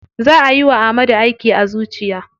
Za ayi wa Ahmadu aiki a zuciya.